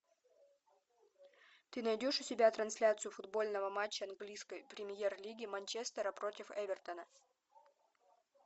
ты найдешь у себя трансляцию футбольного матча английской премьер лиги манчестера против эвертона